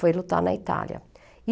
Foi lutar na Itália. E